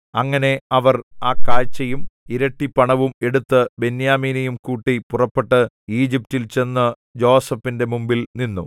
അങ്ങനെ അവർ ആ കാഴ്ചയും ഇരട്ടിപണവും എടുത്തു ബെന്യാമീനെയും കൂട്ടി പുറപ്പെട്ടു ഈജിപ്റ്റിൽ ചെന്നു യോസേഫിന്റെ മുമ്പിൽനിന്നു